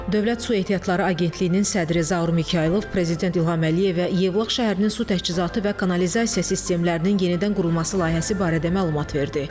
Dövlət Su Ehtiyatları Agentliyinin sədri Zaur Mikayılov prezident İlham Əliyevə Yevlax şəhərinin su təchizatı və kanalizasiya sistemlərinin yenidən qurulması layihəsi barədə məlumat verdi.